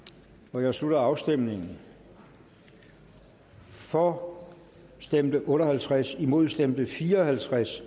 nu jeg slutter afstemningen for stemte otte og halvtreds imod stemte fire og halvtreds